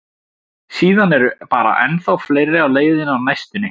Síðan eru bara ennþá fleiri á leiðinni á næstunni.